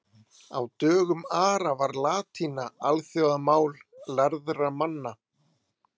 Á dögum Ara var latína alþjóðamál lærðra manna.